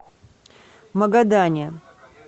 магадане